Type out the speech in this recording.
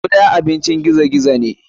Guda abincin gizo gizo ne.